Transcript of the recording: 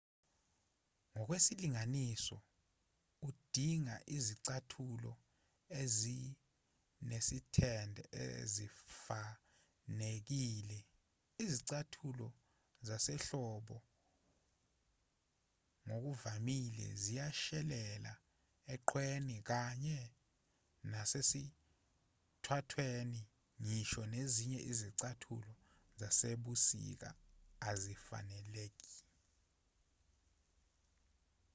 ngokwesilinganiso udinga izicathulo ezinesithende ezifanelekile izicathulo zasehlobo ngokuvamile ziyashelela eqhweni kanye nasesithwathweni ngisho nezinye izicathulo zasebusika azifaneleki